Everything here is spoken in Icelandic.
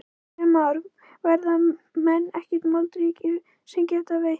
Kristján Már: Verða menn ekki bara moldríkir sem geta veitt?